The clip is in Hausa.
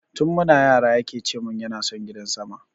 Tun muna yara yake cemun yana son gidan sama